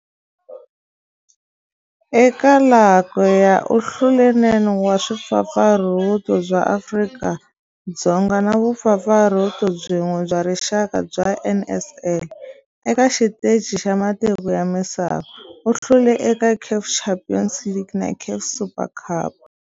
Eka laha kaya u hlule 9 wa vumpfampfarhuti bya Afrika-Dzonga na vumpfampfarhuti byin'we bya rixaka bya NSL. Eka xiteji xa matiko ya misava, u hlule eka CAF Champions League na CAF Super Cup.